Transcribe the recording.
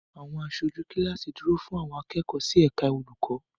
Àwọn aṣojú kíláàsì dúró fún àwọn akẹ́kọ̀ọ́ sí ẹ̀ka olùkọ́.